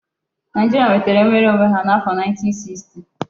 Naijiria nwetara nwere onwe ha n'afo 1960